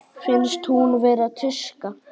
Finnst hún vera tuska.